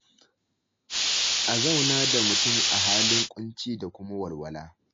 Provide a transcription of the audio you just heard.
A zauna da mutum a halin ƙunci da kuma walwala.